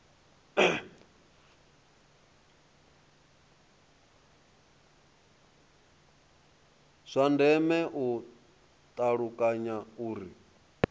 zwa ndeme u ṱalukanya uri